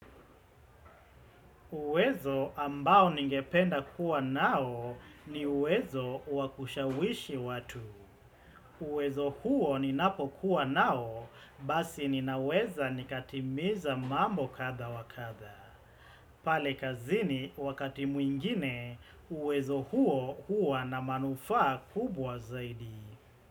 Uwezo ambao ningependa kuwa nao ni uwezo wakushawishi watu. Uwezo huo ni napo kuwa nao, basi ninaweza nikatimiza mambo kadha wa kadha. Pale kazini wakati mwingine, uwezo huo hua na manufaa kubwa zaidi.